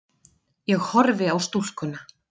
Ég horfi á stúlkuna.